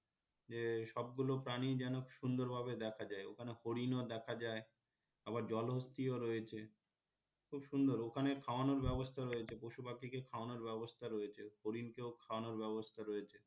যে সবগুলো প্রাণী যেন সুন্দর ভাবে দেখা যায় ওইখানে হরিণও দেখা যায় আবার জলহস্তিও রয়েছে খুব সুন্দর ওখানে খাওয়ানোর ব্যবস্থা রয়েছে পশুপাখিকে খাওয়ানোর ব্যবস্থা রয়েছে হরিণ কেও খাওয়ানোর ব্যবস্থা রয়েছে